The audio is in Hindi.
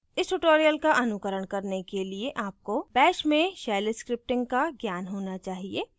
इस tutorial का अनुकरण करने के लिए आपको bash में shell scripting का ज्ञान होना चाहिए